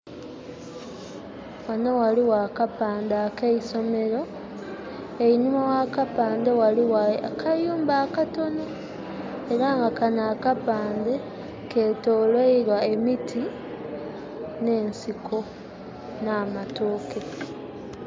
Ghanho ghaligho akapande ak'eisomero, einhuma gh'akapande ghaligho akayumba akatonho era nga kanho akapande ketolweilwa emiti nh'ensiko nh'amatooke.